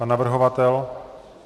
Pan navrhovatel?